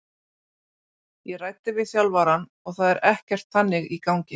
Ég ræddi við þjálfarann og það er ekkert þannig í gangi.